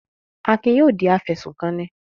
Akin yóò di afẹ̀sùnkanni.